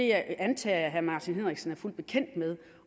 jeg antager at herre martin henriksen er fuldt bekendt med det